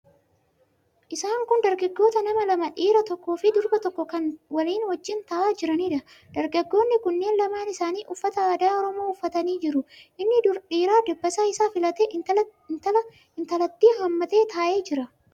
Isaan kun dargaggoota nama lama; dhiira tokkoo fi durba tokko kan walii wajjin taa'aa jiraniidha. Dargaggoonni kunneen lamaan isaanii uffata aadaa Oromoo uffatanii jiru. Inni dhiiraa dabbasaa isaa filatee intalattii hammatee taa'ee jira.